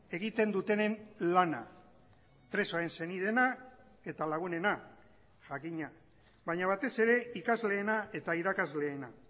egiten dutenen lana presoen senideena eta lagunena jakina baina batez ere ikasleena eta irakasleena